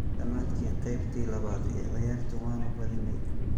Dhammaadkii qeybtii labaad ee ciyaarta waanu badinay.